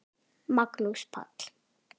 Magnús Páll.